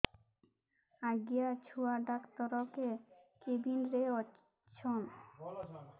ଆଜ୍ଞା ଛୁଆ ଡାକ୍ତର କେ କେବିନ୍ ରେ ଅଛନ୍